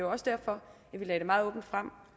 også derfor at vi lagde det meget åbent frem